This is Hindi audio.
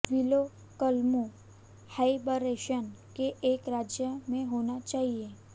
विलो कलमों हाइबरनेशन के एक राज्य में होना चाहिए